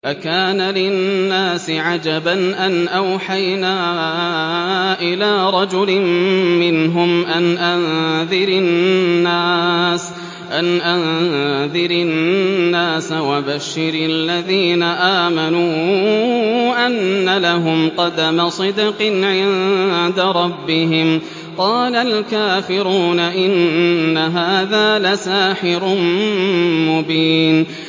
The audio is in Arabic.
أَكَانَ لِلنَّاسِ عَجَبًا أَنْ أَوْحَيْنَا إِلَىٰ رَجُلٍ مِّنْهُمْ أَنْ أَنذِرِ النَّاسَ وَبَشِّرِ الَّذِينَ آمَنُوا أَنَّ لَهُمْ قَدَمَ صِدْقٍ عِندَ رَبِّهِمْ ۗ قَالَ الْكَافِرُونَ إِنَّ هَٰذَا لَسَاحِرٌ مُّبِينٌ